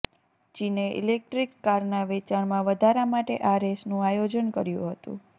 ચીને ઈલેટ્રિક કારના વેચાણમાં વધારા માટે આ રેસનું આયોજન કર્યું હતું